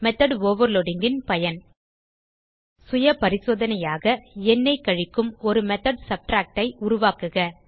method overloadingன் பயன் சுயபரிசோதனையாக எண்ணை கழிக்கும் ஒரு மெத்தோட் subtractஐ உருவாக்குக